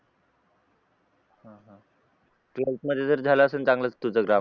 twelfth मध्ये तर झालं असेल चांगलंच तुझं ग्रामर